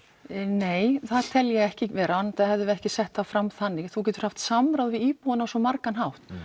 nei það tel ég ekki vera enda hefðum við ekki sett það fram þannig þú getur haft samráð við íbúana á svo margan hátt